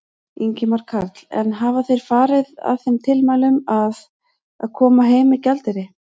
Ingimar Karl: En hafa þeir farið að þeim tilmælum að, að, koma heim með gjaldeyri?